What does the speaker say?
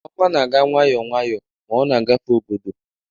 Ọnwa na-aga nwayọọ nwayọọ, ma ọ na-agafe obodo.